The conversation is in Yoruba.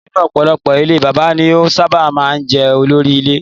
Nínú ọ̀pọ̀ ilé Bàbá ni ó sábà máa ń jẹ́ olórí ile.